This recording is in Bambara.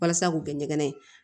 Walasa k'u kɛ ɲɛgɛn ye